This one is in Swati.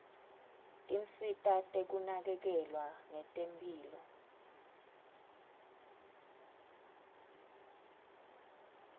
tinsita tekunakekelwa ngetemphilo